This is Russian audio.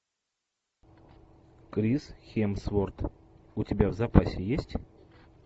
крис хемсворт у тебя в запасе есть